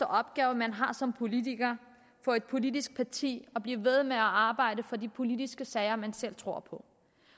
opgave man har som politiker i et politisk parti at blive ved med at arbejde for de politiske sager man selv tror på